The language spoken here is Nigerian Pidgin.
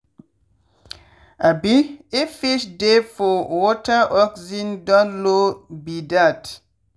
um if fish dey for wateroxygen don low be dat